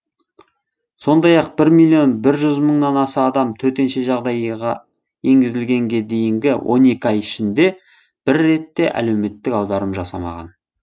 сондай ақ бір миллион бір жүз мыңнан аса адам төтенше жағдай енгізілгенге дейінгі он екі ай ішінде бір рет те әлеуметтік аударым жасамаған